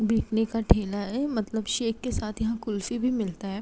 बिकने का ठेला है मतलब शेक के साथ यहाँ कुल्फी भी मिलता है।